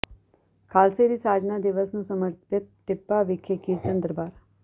ਖ਼ਾਲਸੇ ਦੀ ਸਾਜਨਾ ਦਿਵਸ ਨੂੰ ਸਮਰਪਿਤ ਟਿੱਬਾ ਵਿਖੇ ਕੀਰਤਨ ਦਰਬਾਰ